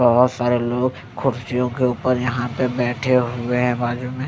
बहोत सारे लोग खुर्सियों के ऊपर यहाँ पे बैठे हुए हैं बाजू में।